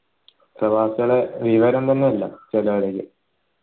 പ്രവാസികൾ വിവരം തന്നെ ഇല്ല ചിലോരൊതൊക്കെ